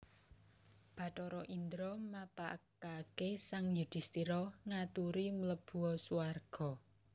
Bathara Indra mapagaké sang Yudhisthira ngaturi mlebua swarga